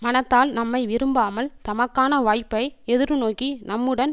மனத்தால் நம்மை விரும்பாமல் தமக்கான வாய்ப்பை எதிர்நோக்கி நம்முடன்